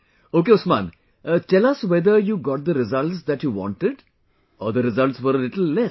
Ok Usman, tell us whether you got the results that you wanted or the results were a little less